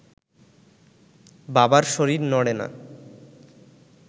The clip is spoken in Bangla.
বাবার শরীর নড়ে না